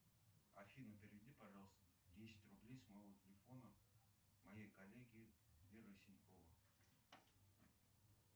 афина переведи пожалуйста десять рублей с моего телефона моей коллеге вера синькова